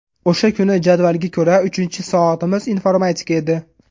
O‘sha kuni jadvalga ko‘ra uchinchi soatimiz informatika edi.